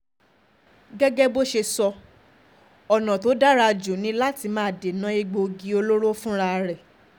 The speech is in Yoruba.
gẹ́gẹ́ bó ṣe sọ ọ̀nà tó um dára jù ni láti máa dènà um egbòogi olóró fúnra rẹ̀